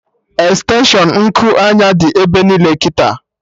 Extenshụn Nku anya dị ebe niile kịta